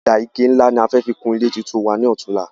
Ọ̀dà ike ní nlá ní a fẹ fi kun ilé tuntun wa ní òtunla